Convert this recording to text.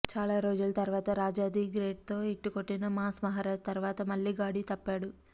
చాలా రోజుల తరువాత రాజా ది గ్రేట్తో హిట్ కొట్టిన మాస్ మహరాజ్ తరువాత మళ్లీ గాడి తప్పాడు